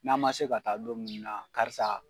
N'an man se ka taa don munnu na karisa